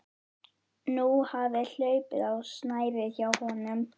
Nú hafði hlaupið á snærið hjá honum.